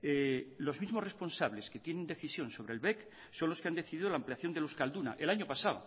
los mismos responsables que tienen decisión sobre el bec son los que han decidido la ampliación del euskalduna el año pasado